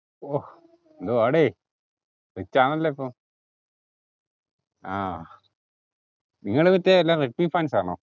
ഓഹ് ന്തുവാടെ rich ആണല്ലോ ഇപ്പോ ആഹ് നിങ്ങള് മറ്റേ എല്ലാം റെഡ്‌മി fans ആണോ